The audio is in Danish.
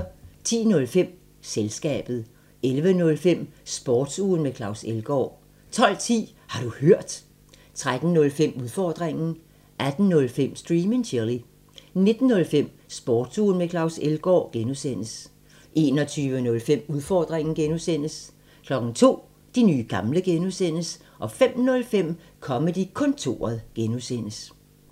10:05: Selskabet 11:05: Sportsugen med Claus Elgaard 12:10: Har du hørt? 13:05: Udfordringen 18:05: Stream and Chill 19:05: Sportsugen med Claus Elgaard (G) 21:05: Udfordringen (G) 02:00: De nye gamle (G) 05:05: Comedy-kontoret (G)